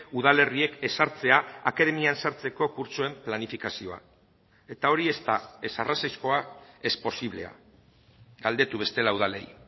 udalerriek ezartzea akademian sartzeko kurtsoen planifikazioa eta hori ez da ez arrazoizkoa ez posiblea galdetu bestela udalei